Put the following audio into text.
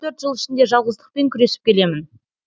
төрт жыл ішінде жалғыздықпен күресіп келемін